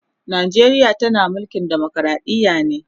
Najeriya tana mulkin demokradiya ne